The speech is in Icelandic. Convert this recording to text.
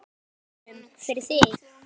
En við reynum, fyrir þig.